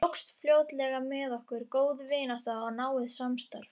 Tókst fljótlega með okkur góð vinátta og náið samstarf.